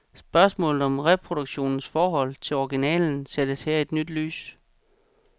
Spørgsmålet om reproduktionens forhold til originalen sættes her i et nyt lys.